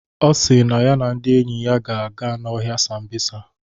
Ọ si na ya na ndị enyi ya ga-aga n'ọhịa Sambisa.